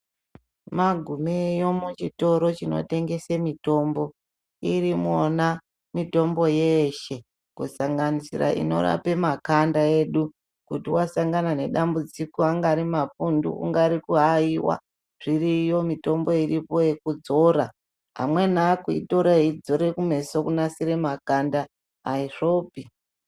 Magumeyo muchitoro chinotengese mitombo iri mona mitombo yeshe kusanganisira inorapa makanda edu. Kuti vasangana nedambudziko angari mapundu, kungari kuaviva zviriyo mitombo iripo yekudzora. Amweni akuitora kudzire kumeso kunasira makanda haizvopi.